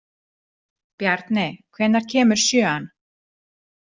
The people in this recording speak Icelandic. Bjarni, hvenær kemur sjöan?